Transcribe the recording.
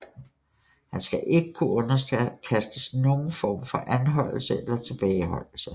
Han skal ikke kunne underkastes nogen form for anholdelse eller tilbageholdelse